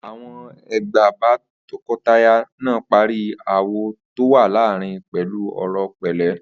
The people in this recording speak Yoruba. Àwo̩n àgbà bá to̩ko̩taya náà parí aáwò̩ tó wà láàárín pè̩lú ò̩rò̩ pè̩lé̩